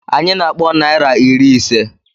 Anyị na-akpọ naira iri ise.